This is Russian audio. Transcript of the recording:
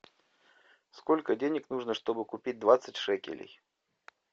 сколько денег нужно чтобы купить двадцать шекелей